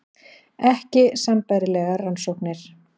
Ekki sambærilegar rannsóknir